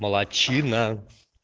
молодчина